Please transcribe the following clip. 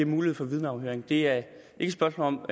mulighed for vidneafhøring det er ikke et spørgsmål om